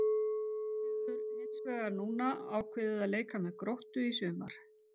Hann hefur hins vegar núna ákveðið að leika með Gróttu í sumar.